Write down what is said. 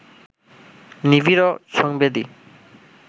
নিবিড় ও সংবেদী